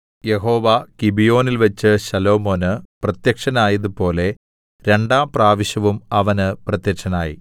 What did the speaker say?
യഹോവ ഗിബെയോനിൽവെച്ച് ശലോമോന് പ്രത്യക്ഷനായതുപോലെ രണ്ടാം പ്രാവശ്യവും അവന് പ്രത്യക്ഷനായി